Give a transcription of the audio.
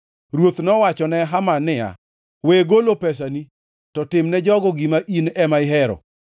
Ruoth nowachone Haman niya, “We golo pesani, to timne jogo gima in ema ihero.”